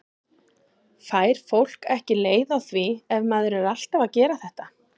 Fær fólk ekki leið á því ef maður er alltaf að gera þetta?